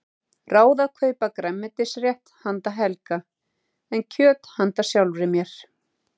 Ráð að kaupa grænmetisrétt handa Helga en kjöt handa sjálfri mér.